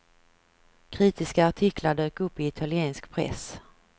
Kritiska artiklar dök upp i italiensk press.